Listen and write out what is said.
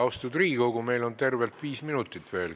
Austatud Riigikogu, meil on tervelt viis minutit veel.